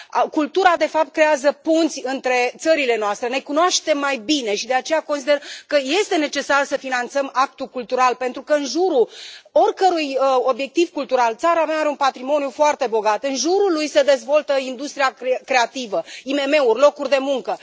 Cultura de fapt creează punți între țările noastre, ne cunoaștem mai bine și de aceea consider că este necesar să finanțăm actul cultural pentru că în jurul oricărui obiectiv cultural țara mea are un patrimoniu foarte bogat, în jurul lui se dezvoltă industria creativă, IMM uri, locuri de muncă.